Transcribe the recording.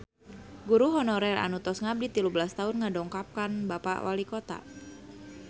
Guru honorer anu tos ngabdi tilu belas tahun ngadongkapan Bapak Walikota